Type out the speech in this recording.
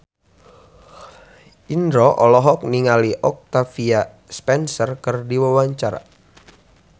Indro olohok ningali Octavia Spencer keur diwawancara